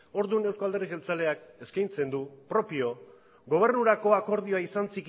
orduan euzko alderdi jeltzaleak eskaintzen du propio gobernurako akordioa izan